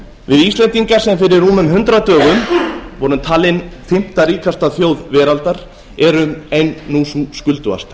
við íslendingar sem fyrir rúmum hundrað dögum vorum talin fimmta ríkasta þjóðveraldar erum nú ein sú skuldugasta